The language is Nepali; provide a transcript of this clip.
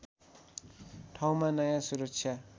ठाउँमा नयाँ सुरक्षा